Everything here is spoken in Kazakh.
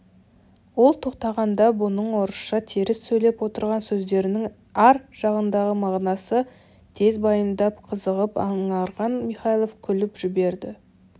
ол тоқтағанда бұның орысша теріс сөйлеп отырған сөздерінің ар жағындағы мағынасын тез байымдап қызығып аңғарған михайлов күліп жіберді